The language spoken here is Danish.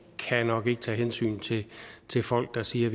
kan nok ikke tage hensyn til til folk der siger at